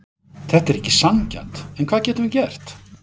Þetta er ekki sanngjarnt, en hvað getum við gert?